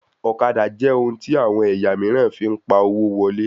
Ọ̀kadà jẹ ohun tí àwọn ẹ̀yà míìràn fín pá owo wọlé